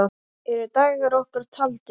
Eru dagar okkar taldir?